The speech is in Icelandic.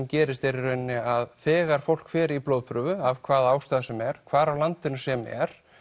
gerist er að þegar fólk fer í blóðprufu af hvaða ástæðu sem er hvar á landinu sem er